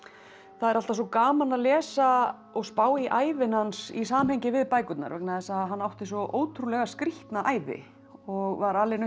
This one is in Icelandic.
það er alltaf svo gaman að lesa og spá í ævina hans í samhengi við bækurnar vegna þess að hann átti svo ótrúlega skrýtna ævi og var alinn upp